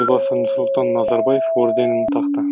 елбасы нұрсұлтан назарбаев орденін тақты